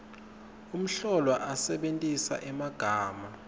umhlolwa asebentisa emagama